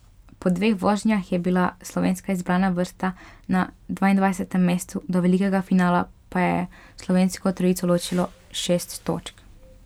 Po dveh vožnjah je bila slovenska izbrana vrsta na dvaindvajsetem mestu, do velikega finala pa je slovensko trojico ločilo šest točk.